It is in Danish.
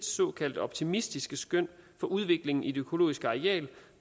såkaldt optimistiske skøn på udviklingen i det økologiske areal